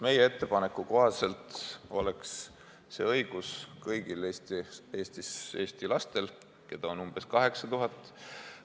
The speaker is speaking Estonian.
Meie ettepaneku kohaselt oleks see õigus kõigil Eesti lastel, keda on umbes 8000.